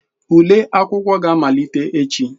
Ule ụlọ akwụkwọ ga-amalite echi.